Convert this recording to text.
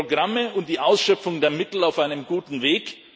Sind die Programme und die Ausschöpfung der Mittel auf einem guten Weg?